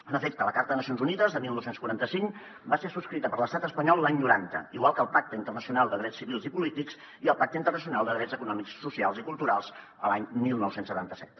en efecte la carta de nacions unides de dinou quaranta cinc va ser subscrita per l’estat espanyol l’any noranta igual que el pacte internacional de drets civils i polítics i el pacte internacional de drets econòmics socials i culturals l’any dinou setanta set